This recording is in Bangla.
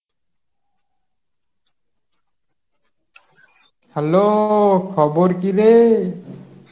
hello, খবর কী রে?